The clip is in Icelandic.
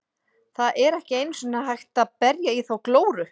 Það er ekki einu sinni hægt að berja í þá glóru.